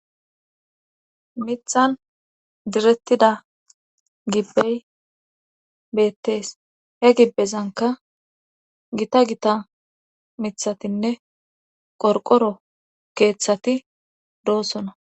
mithan direttida gibbey beettees he gibbezanka gita gita mithatinne qorqoro keeththati doossona